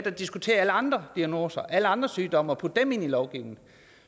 og diskutere alle andre diagnoser alle andre sygdomme og putte dem ind i lovgivningen